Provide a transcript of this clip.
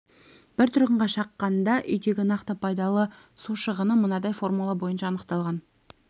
бір тұрғынға шаққанда үйдегі нақты пайдалы су шығыны мынадай формула бойынша анықталған